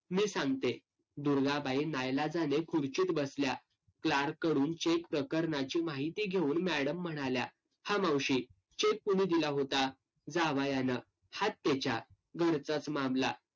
मी सांगते. दुर्गाबाई नाईलाजाने खुर्चीत बसल्या. clerk कडून cheque प्रकरणाची माहिती घेऊन madam म्हणाल्या. हा मावशी, cheque कुणी दिला होता? जावयानं. हात्तेच्या. घरचाच मामला.